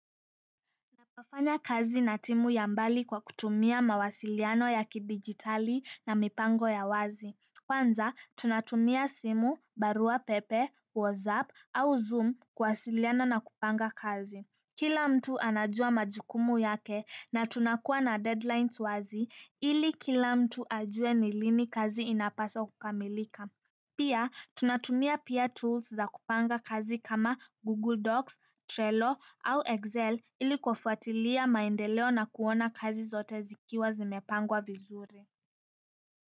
Nafanya kazi na timu ya mbali kwa kutumia mawasiliano ya kidijitali na mipango ya wazi. Kwanza, tunatumia simu, barua pepe, WhatsApp au Zoom kuwasiliana na kupanga kazi. Kila mtu anajua majukumu yake na tunakuwa na deadlines wazi ili kila mtu ajue lini kazi inapaswa kukamilika. Pia, tunatumia pia tools za kupanga kazi kama Google docs, Trello au Excel ili kufuatilia maendeleo na kuona kazi zote zikiwa zimepangwa vizuri.